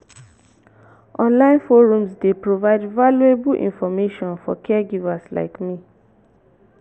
online forums dey provide valuable information for caregivers like me.